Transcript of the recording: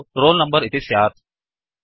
तत्तु roll number इति स्यात्